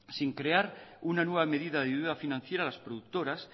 sin crear una nueva medida de ayuda financiera a las productoras